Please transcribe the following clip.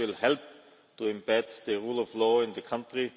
This will help to embed the rule of law in the country.